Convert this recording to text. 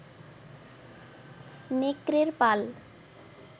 নেকড়ের পাল